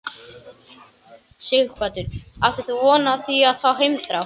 Sighvatur: Áttir þú von á því að fá heimþrá?